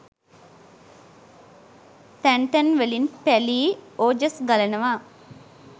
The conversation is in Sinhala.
තැන් තැන් වලින් පැලී ඕජස් ගලනවා